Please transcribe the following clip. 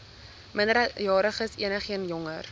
minderjariges enigeen jonger